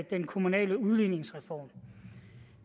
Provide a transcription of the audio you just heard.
den kommunale udligningsreform